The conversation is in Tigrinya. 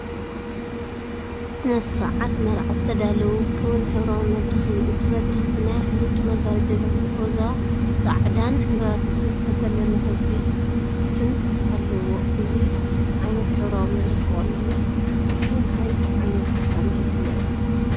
ስነ-ስርዓት መርዓ ዝተዳለወ ውቁብን ሕብራዊን መድረኽ እዩ። እቲ መድረኽ ብናይ ሐርጭ መጋረጃታትን ሮዛን ጻዕዳን ዕምባባታትን ዝተሰለመ ክቢ ቅስትን ኣለዎ። እዚ ዓይነት ሕብራዊ መድረኽ ብቐንዱ ንእንታይ ዓይነት ፍጻመ እዩ ዝውዕል?